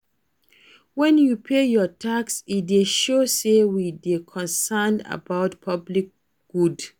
When we pay our tax, e dey show sey we dey concerned about public good